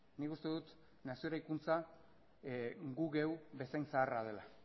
nik uste dut nazio eraikuntza gu geuk bezain zaharra dela